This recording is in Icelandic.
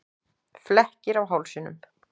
Flekkir á hálsinum.